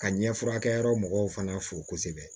Ka ɲɛfurakɛ yɔrɔ mɔgɔw fana fo kosɛbɛ